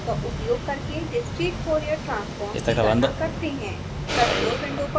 अब fft का उपयोग करके डिस्क्रीट fourier ट्रांसफोर्म की गणना करते हैं